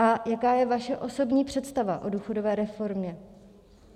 A jaká je vaše osobní představa o důchodové reformě?